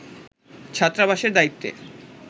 ছাত্রাবাসের দায়িত্বে